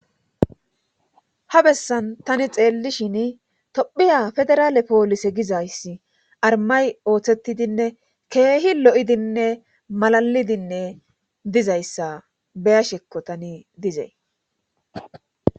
Ha bessan tani xeelli shin tophiya federaale poolise gizayssi armay ooththettidinne keehi lo'idinne malalidinne dizayssa beya shekko tani dizay.